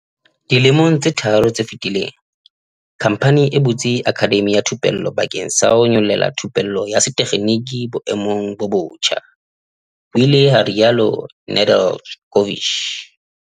"Dilemong tse tharo tse fetileng, khamphani e butse akhademi ya thupello bakeng sa ho nyolella thupello ya setekginiki boemong bo botjha," ho ile ha rialo Nedeljkovic.